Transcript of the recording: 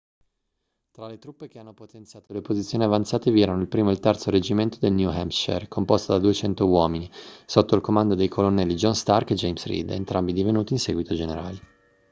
tra le truppe che hanno potenziato le posizioni avanzate vi erano il 1° e il 3° reggimento del new hampshire composto da 200 uomini sotto il comando dei colonnelli john stark e james reed entrambi divenuti in seguito generali